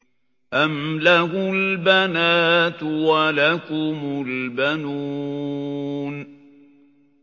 أَمْ لَهُ الْبَنَاتُ وَلَكُمُ الْبَنُونَ